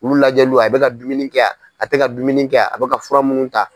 Ulu lajɛliw a bɛ ka dumuni kɛ a a tɛka dumuni kɛ a a bɛ ka fura munnu ta.